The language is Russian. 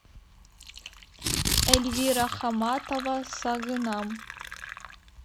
эльвира хамматова сагынам